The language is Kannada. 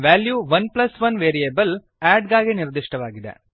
ವೆಲ್ಯೂ 11 ವೇರಿಯೇಬಲ್ add ಗಾಗಿ ನಿರ್ದಿಷ್ಟವಾಗಿದೆ